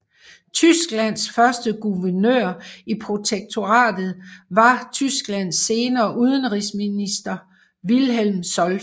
Tysklands første guvernør i protektoratet var Tysklands senere udenrigsminister Wilhelm Solf